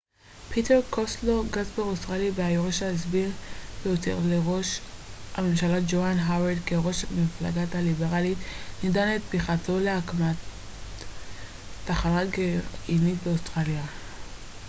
פיטר קוסטלו גזבר אוסטרלי והיורש הסביר ביותר לראש הממשלה ג'והן האווארד כראש המפלגה הליברלית נידב את תמיכתו להקמת תחנת כוח גרעינית באוסטרליה